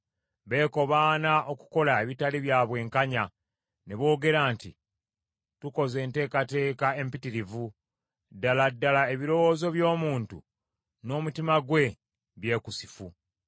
Beekobaana okukola ebitali bya bwenkanya, ne boogera nti, “Tukoze enteekateeka empitirivu.” Ddala ddala ebirowoozo by’omuntu n’omutima gwe byekusifu.